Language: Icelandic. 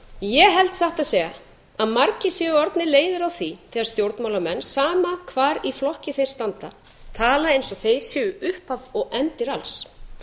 ég held satt að segja að margir séu orðnir leiðir á því þegar stjórnmálamenn sama hvar í flokki þeir standa tala eins og þeir séu upphaf og endir alls